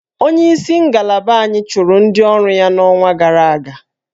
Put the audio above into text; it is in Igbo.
Onyeisi ngalaba anyị chụrụ ndị ọrụ ya n'ọnwa gara aga